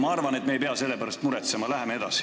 Ma arvan, et me ei pea selle pärast muretsema, läheme edasi.